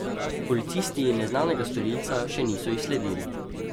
Policisti neznanega storilca še niso izsledili.